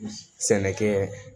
Sɛnɛkɛ